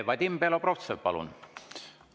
Vadim Belobrovtsev, palun!